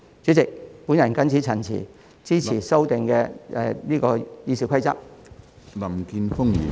主席，我謹此陳辭，支持對《議事規則》進行修訂的議案。